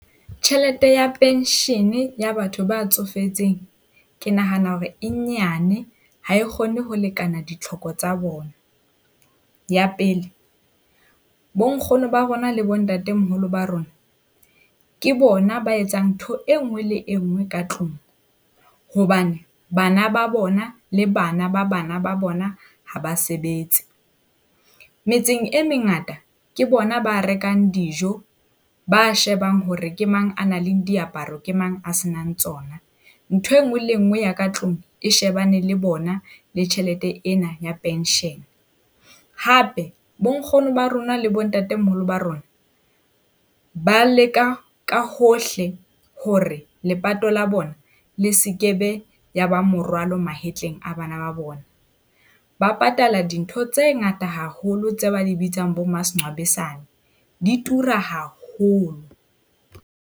Tjhelete ya pension-e ya batho ba tsofetseng ke nahana hore e nyane, ha e kgone ho lekana ditlhoko tsa bona. Ya pele, bonkgono ba rona le bontatemoholo ba rona ke bona ba etsang ntho e nngwe le e nngwe ka tlung hobane bana ba bona le bana ba bana ba bona ha ba sebetse. Metseng e mengata ke bona ba rekang dijo, ba shebang hore ke mang a nang le diaparo, ke mang a se nang tsona, Ntho e nngwe le nngwe ya ka tlung e shebane le bona le tjhelete ena ya pension. Hape bonkgono ba rona le bontatemoholo ba rona ba leka ka hohle hore lepato la bona le sekebe ya ba morwalo mahetleng a bana ba bona. Ba patala dintho tse ngata haholo tse ba di bitsang bo ma . Di tura haholo.